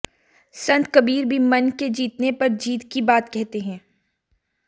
संत कबीर भी मन के जीतने पर जीत की बात कहते हैं